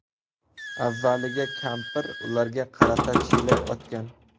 Avvaliga kampir ularga qarata chelak otgan.